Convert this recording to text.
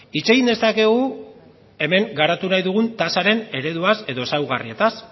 hitz egin dezakegu hemen garatu nahi dugun tasaren ereduaz edo ezaugarrietaz